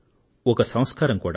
ఒక సంస్కారం కూడా